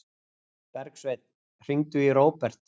Bergsveinn, hringdu í Róbert.